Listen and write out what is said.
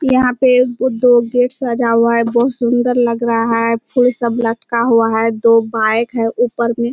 यहाँ पे एगो दो गेट सजा हुआ है। बहुत सुन्दर लग रहा है। फूल सब लटका हुआ है। दो बाइक है ऊपर में।